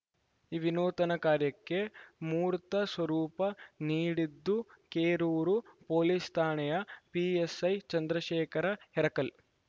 ಈ ವಿನೂತನ ಕಾರ್ಯಕ್ಕೆ ಮೂರ್ತ ಸ್ವರೂಪ ನೀಡಿದ್ದು ಕೆರೂರು ಪೊಲೀಸ್‌ ಠಾಣೆಯ ಪಿಎಸ್‌ಐ ಚಂದ್ರಶೇಖರ ಹೆರಕಲ್‌